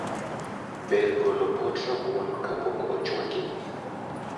Ber golo pot rabuon kapok ochwaki